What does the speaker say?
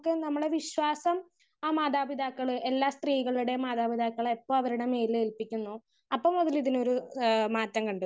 Speaker 1 നമ്മളെ വിശ്വാസം ആ മാതാപിതാക്കള് എല്ലാ സ്ത്രീകളുടെയും മാതാപിതാക്കള് എപ്പൊ അവരുടെ മേലിൽ ഏൽപിക്കുന്നു അപ്പോ മുതൽ ഇതിനൊരു മാറ്റം കണ്ടെത്തും.